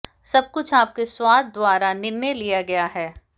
सब कुछ आपके स्वाद द्वारा निर्णय लिया गया है